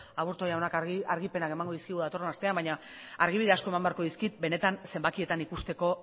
aburto jaunak argipenak emango dizkigu datorren astean baina argibide asko eman beharko dizkit benetan zenbakietan ikusteko